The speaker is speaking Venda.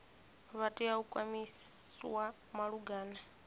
vha tea u kwamiwa malugana